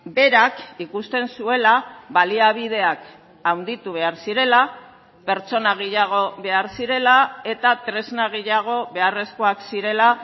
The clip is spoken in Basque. berak ikusten zuela baliabideak handitu behar zirela pertsona gehiago behar zirela eta tresna gehiago beharrezkoak zirela